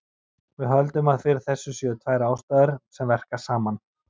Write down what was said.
Við höldum að fyrir þessu séu tvær ástæður sem verka saman.